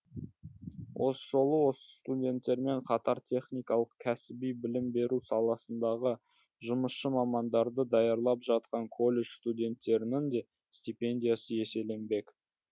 осы жолы осы студенттермен қатар техникалық кәсіби білім беру саласындағы жұмысшы мамандарды даярлап жатқан колледж студенттерінің де стипендиясы еселенбек